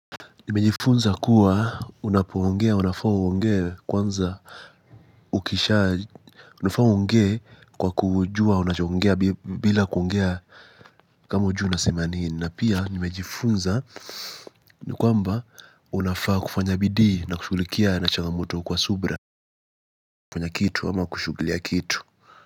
Nimejifunza kuwa unapuongea unafaa uongea kwanza unafaa uongea kwa kujua unachoongea bila kuongea kama hujui unasema nini na pia nimejifunza ni kwamba unafaa kufanya bidi na kushulikia na chaga mwoto kwa subra kufanya kitu ama kushughulia kitu.